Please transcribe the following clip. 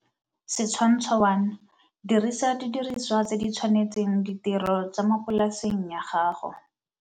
Setshwantsho 1 - Dirisa didiriswa tse di tshwanetseng ditiro tsa mo polaseng ya gago.